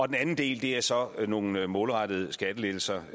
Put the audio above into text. den anden del er så nogle målrettede skattelettelser